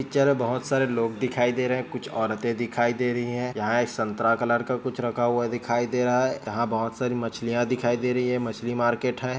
--चर में बहोत सारे लोग दिखाई दे रहे हैं कुछ औरतें दिखाई दे रही है यहाँ एक संतरा कलर का कुछ रखा हुआ दिखाई दे रहा है यहाँ बहोत सारी मछलियां दिखाई दे रही हैं मछली मार्किट है।